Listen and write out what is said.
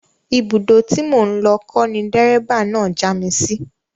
Ibùdó tí mò ń lọ kọ́ ni dẹ́ríbà náà já mi sí